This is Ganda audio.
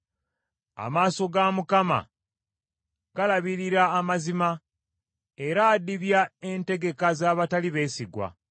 Amaaso ga Mukama galabirira amazima, era adibya entegeka z’abatali beesigwa.